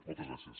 moltes gràcies